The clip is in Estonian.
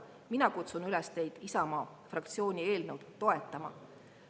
Mina kutsun teid üles Isamaa fraktsiooni eelnõu toetama.